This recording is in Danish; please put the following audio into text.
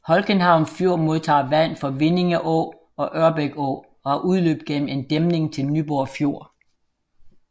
Holckenhavn Fjord modtager vand fra Vindinge Å og Ørbæk Å og har udløb gennem en dæmning til Nyborg Fjord